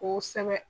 Ko sɛbɛ